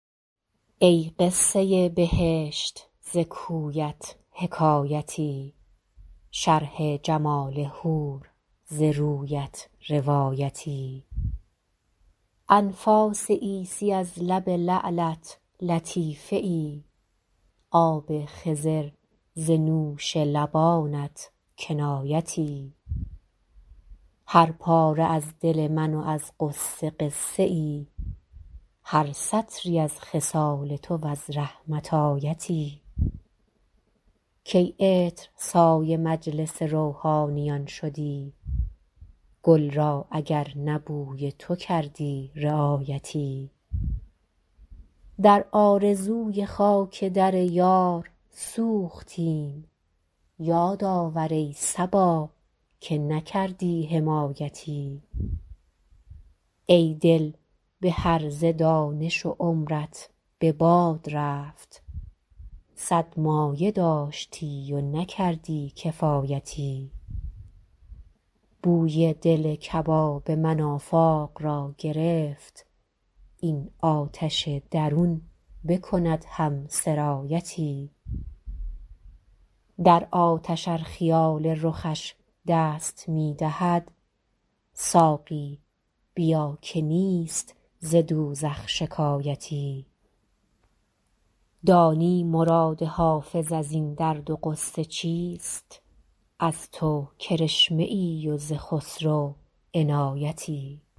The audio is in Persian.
ای قصه بهشت ز کویت حکایتی شرح جمال حور ز رویت روایتی انفاس عیسی از لب لعلت لطیفه ای آب خضر ز نوش لبانت کنایتی هر پاره از دل من و از غصه قصه ای هر سطری از خصال تو و از رحمت آیتی کی عطرسای مجلس روحانیان شدی گل را اگر نه بوی تو کردی رعایتی در آرزوی خاک در یار سوختیم یاد آور ای صبا که نکردی حمایتی ای دل به هرزه دانش و عمرت به باد رفت صد مایه داشتی و نکردی کفایتی بوی دل کباب من آفاق را گرفت این آتش درون بکند هم سرایتی در آتش ار خیال رخش دست می دهد ساقی بیا که نیست ز دوزخ شکایتی دانی مراد حافظ از این درد و غصه چیست از تو کرشمه ای و ز خسرو عنایتی